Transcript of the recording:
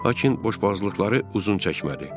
Lakin boşboğazlıqları uzun çəkmədi.